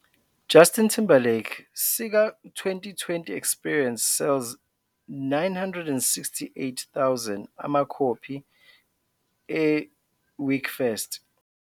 "Justin Timberlake sika '20 - 20 Experience' Sells 968.000 amakhophi e Week First".